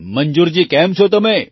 મંજૂર જી કેમ છો તમે